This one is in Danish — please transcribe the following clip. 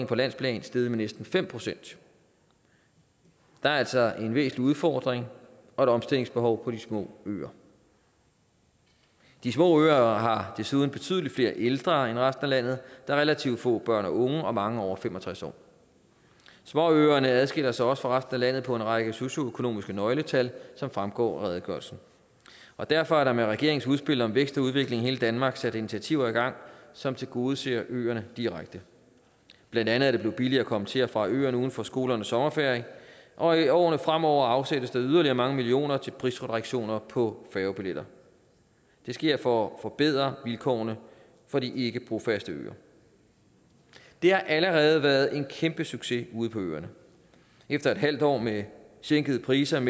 på landsplan steget med næsten fem procent der er altså en væsentlig udfordring og et omstillingsbehov på de små øer de små øer har desuden betydelig flere ældre end resten af landet er relativt få børn og unge og mange over fem og tres år småøerne adskiller sig også fra resten af landet på en række socioøkonomisk nøgletal som fremgår af redegørelsen og derfor er der med regeringens udspil om vækst og udvikling i hele danmark sat initiativer i gang som tilgodeser øerne direkte blandt andet er det blevet billigere at komme til og fra øerne uden for skolernes sommerferie og i årene fremover afsættes der yderligere mange millioner kroner til prisreduktioner på færgebilletter det sker for at forbedre vilkårene for de ikkebrofaste øer og det har allerede været en kæmpe succes ude på øerne efter et halvt år med sænkede priser